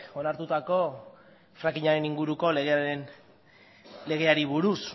onartutako frackingaren inguruko legeari buruz